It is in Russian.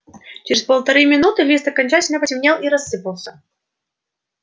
через полторы минуты лист окончательно потемнел и рассыпался